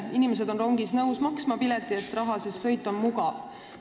Inimesed on nõus maksma rongipileti eest raha, sest sõit on mugav.